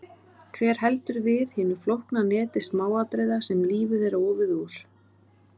Hver heldur við hinu flókna neti smáatriða sem lífið er ofið úr?